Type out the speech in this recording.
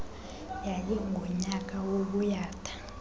yayi ngunyaka wobuyatha